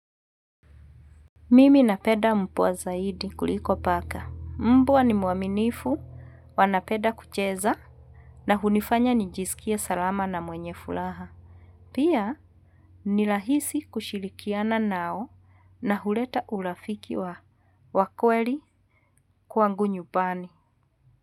Mimi napenda mvua zaidi kuliko paka. Mbwa ni mwaminifu, wanapenda kucheza na hunifanya nijisikie salama na mwenye furaha. Pia ni rahisi kushirikiana nao na huleta urafiki wa kweli kwangu nyumbani.